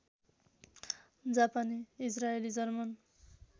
जापानी इजरायली जर्मन